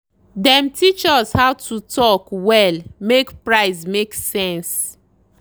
dem teach us how to talk well make price make sense.